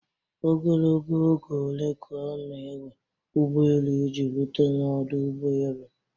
Ogologo oge ole ka ọ na-ewe ụgbọ elu iji rute n'ọdụ ụgbọ elu?